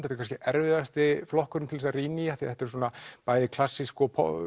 er kannski erfiðasti flokkurinn til að rýna í af því þetta er svona bæði klassísk